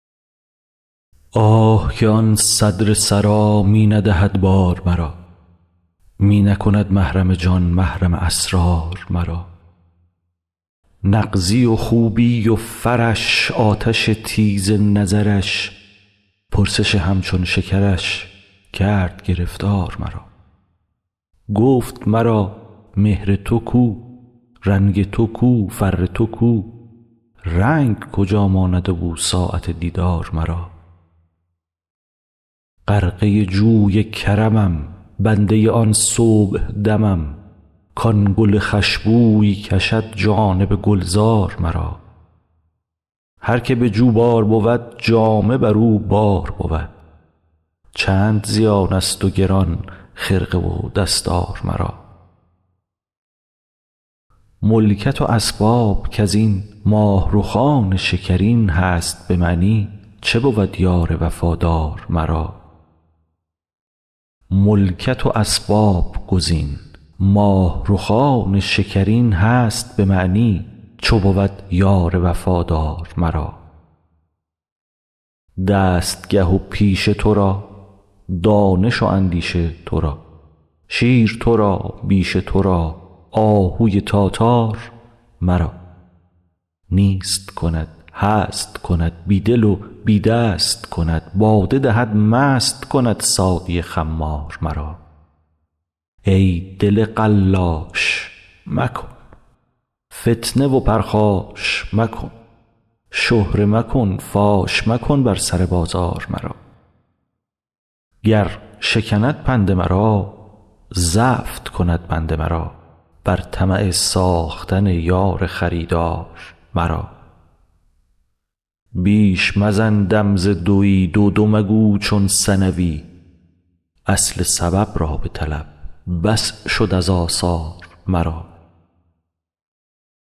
آه که آن صدر سرا می ندهد بار مرا می نکند محرم جان محرم اسرار مرا نغزی و خوبی و فرش آتش تیز نظرش پرسش همچون شکرش کرد گرفتار مرا گفت مرا مهر تو کو رنگ تو کو فر تو کو رنگ کجا ماند و بو ساعت دیدار مرا غرقه جوی کرمم بنده آن صبحدمم کان گل خوش بوی کشد جانب گلزار مرا هر که به جوبار بود جامه بر او بار بود چند زیانست و گران خرقه و دستار مرا ملکت و اسباب کز این ماه رخان شکرین هست به معنی چو بود یار وفادار مرا دستگه و پیشه تو را دانش و اندیشه تو را شیر تو را بیشه تو را آهوی تاتار مرا نیست کند هست کند بی دل و بی دست کند باده دهد مست کند ساقی خمار مرا ای دل قلاش مکن فتنه و پرخاش مکن شهره مکن فاش مکن بر سر بازار مرا گر شکند پند مرا زفت کند بند مرا بر طمع ساختن یار خریدار مرا بیش مزن دم ز دوی دو دو مگو چون ثنوی اصل سبب را بطلب بس شد از آثار مرا